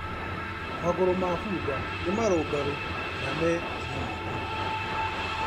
Magũrũ ma bunda nĩ marũngarũ na me hinya mũingĩ.